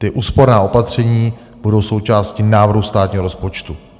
Ta úsporná opatření budou součástí návrhu státního rozpočtu.